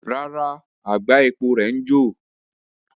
Rara, agba epo rẹ ǹ jo